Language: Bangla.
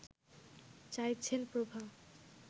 চাইছেন প্রভা